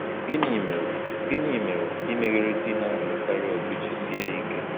Gịnị mere Gịnị mere imeghere di na-alụkarị ọgụ ji sie ike?